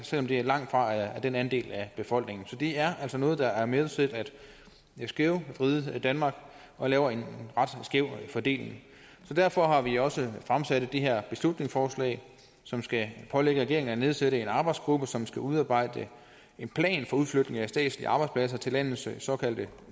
selv om det langtfra er den andel af befolkningen så det er altså noget der er med til at skævvride danmark lave en ret skæv fordeling så derfor har vi også fremsat det her beslutningsforslag som skal pålægge regeringen at nedsætte en arbejdsgruppe som skal udarbejde en plan for udflytning af statslige arbejdspladser til landets såkaldte